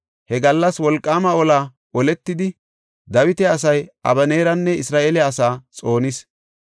He gallas wolqaama ola oletidi, Dawita asay Abeneeranne Isra7eele asaa xoonis.